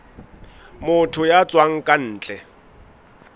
motho ya tswang ka ntle